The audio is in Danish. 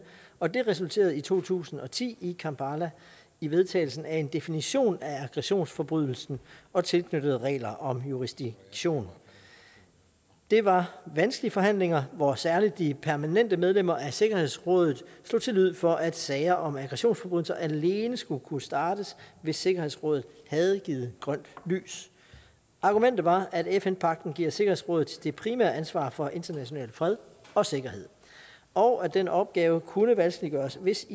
og det resulterede i to tusind og ti i kampala i vedtagelsen af en definition af aggressionsforbrydelsen og tilknyttede regler om jurisdiktion det var vanskelige forhandlinger hvor særlig de permanente medlemmer af sikkerhedsrådet slog til lyd for at sager om aggressionsforbrydelser alene skulle kunne startes hvis sikkerhedsrådet havde givet grønt lys argumentet var at fn pagten giver sikkerhedsrådet det primære ansvar for international fred og sikkerhed og at den opgave kunne vanskeliggøres hvis